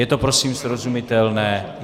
Je to prosím srozumitelné?